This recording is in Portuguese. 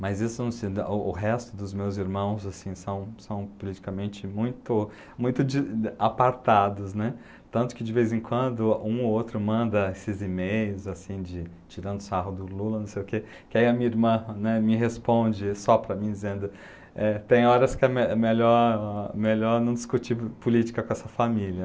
Mas isso não se da, o o o resto dos meus irmãos, assim, são são politicamente muito muito de apartados, né, tanto que de vez em quando um ou outro manda esses e-mails, assim de, tirando sarro do Lula, não sei o que, que aí a minha irmã, né, me responde só para mim, eh, dizendo que tem horas que é melhor melhor não discutir política com essa família.